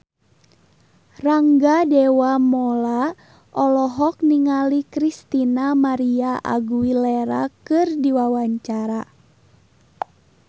Rangga Dewamoela olohok ningali Christina María Aguilera keur diwawancara